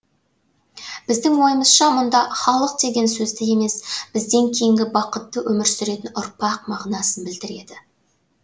біздің ойымызша мұнда халық деген сөзді емес бізден кейінгі бақытты өмір сүретін ұрпақ мағынасын білдіреді